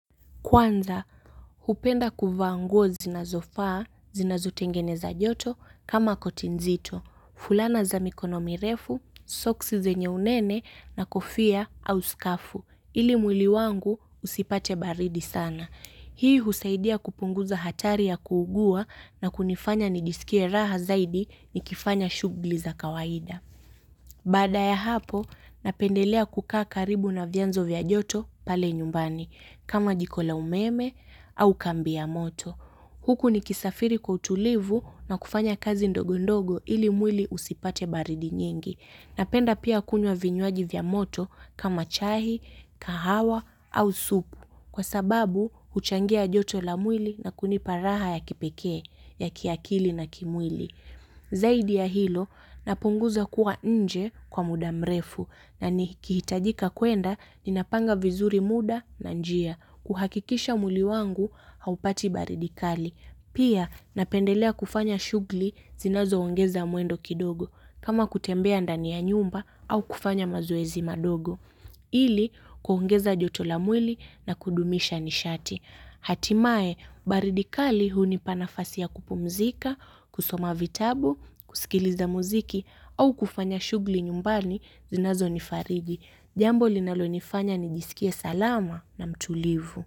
Kwanza, hupenda kuvaa nguo zinazofaa, zinazotengeneza joto, kama koti nzito. Fulana za mikono mirefu, soksi zenye unene na kofia au skafu. Ili mwili wangu usipate baridi sana. Hii husaidia kupunguza hatari ya kuugua na kunifanya nijisikie raha zaidi ninapofanya shughuli za kawaida. Baada ya hapo, napendelea kukaa karibu na vyanzo vya joto pale nyumbani. Kama jiko la umeme au kambi ya moto. Huku nikisafiri kwa utulivu na kufanya kazi ndogo ndogo ili mwili usipate baridi nyingi. Napenda pia kunywa vinywaji vya moto kama chai, kahawa au supu. Kwa sababu huchangia joto la mwili na kunipa raha ya kipekee, ya kiakili na kimwili. Zaidi ya hilo, napunguza kuwa nje kwa muda mrefu na nikihitajika kwenda, ninapanga vizuri muda na njia kuhakikisha mwili wangu haupati baridi kali. Pia napendelea kufanya shughuli zinazoongeza mwendo kidogo kama kutembea ndani ya nyumba au kufanya mazoezi madogo. Ili, kuongeza joto la mwili na kudumisha nishati. Hatimaye, baridi kali hunipa nafasi ya kupumzika, kusoma vitabu, kusikiliza muziki au kufanya shughuli nyumbani zinazonifurahisha. Jambo linalonifanya nijisikie salama na mtulivu.